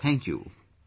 Sir Thank you